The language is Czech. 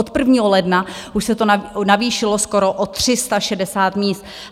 Od 1. ledna už se to navýšilo skoro o 360 míst.